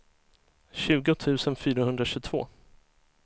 tjugo tusen fyrahundratjugotvå